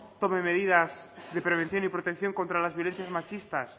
tome medidas de prevención y protección contra las violencias machistas